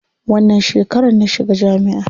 Wannan shekarar na shiga jami'a.